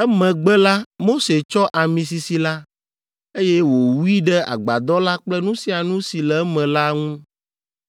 Emegbe la, Mose tsɔ ami sisi la, eye wòwui ɖe Agbadɔ la kple nu sia nu si le eme la ŋu,